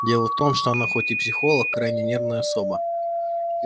дело в том что она хоть и психолог крайне нервная особа